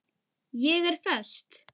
Ég er föst.